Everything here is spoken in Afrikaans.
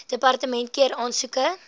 departement keur aansoeke